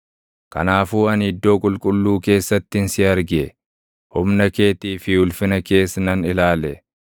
Kanaafuu ani iddoo qulqulluu keessattin si arge; humna keetii fi ulfina kees nan ilaale.